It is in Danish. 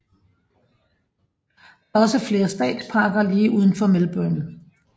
Der er også flere statsparker lige udenfor Melbourne